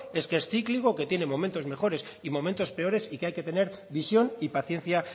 es que es cíclico que tiene momentos mejores y momentos peores y que hay que tener visión y paciencia